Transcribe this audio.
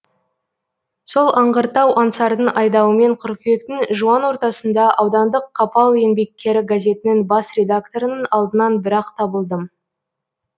сол аңғырттау аңсардың айдауымен қыркүйектің жуан ортасында аудандық қапал еңбеккері газетінің бас редакторының алдынан бір ақ табылдым